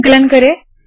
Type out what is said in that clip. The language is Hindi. संकलन करे